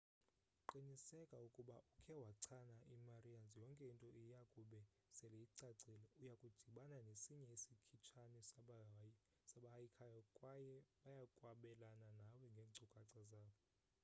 qinsekisa ukuba ukhe wachana i-marians yonke into iyakube sele icacile uyakudibana nesinye isikhitshane sabahayikhayo kwaye bayakwabelana nawe ngeenkcukacha zabo